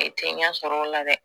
I tɛ ɲɛ sɔrɔ o la dɛ